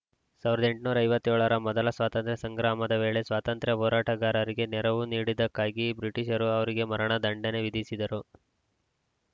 ಸಾವಿರದ ಎಂಟುನೂರ ಐವತ್ತ್ ಏಳರ ಮೊದಲ ಸ್ವತಂತ್ರ ಸಂಗ್ರಾಮದ ವೇಳೆ ಸ್ವಾತಂತ್ರ್ಯ ಹೋರಾಟಗಾರರಿಗೆ ನೆರವು ನೀಡಿದ್ದಕ್ಕಾಗಿ ಬ್ರಿಟಿಷರು ಅವರಿಗೆ ಮರಣ ದಂಡನೆ ವಿಧಿಸಿದ್ದರು